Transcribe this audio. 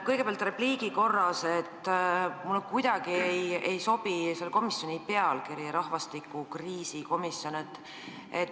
Kõigepealt ütlen repliigi korras, et minu meelest ei sobi kuidagi selle komisjoni nimetus – rahvastikukriisi komisjon.